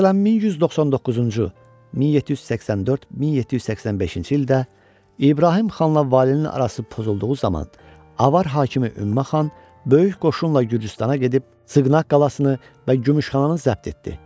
Məsələn, 1199-cu, 1784, 1785-ci ildə İbrahim xanla valinin arası pozulduğu zaman Avar hakimi Ümmə xan böyük qoşunla Gürcüstana gedib Sığnaq qalasını və Gümüşxananı zəbt etdi.